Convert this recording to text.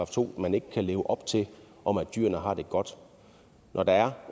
to man ikke kan leve op til om at dyrene har det godt når der er